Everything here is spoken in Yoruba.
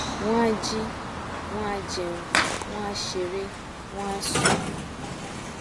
wọn a jí wọn a jẹun wọn a ṣeré wọn á sùn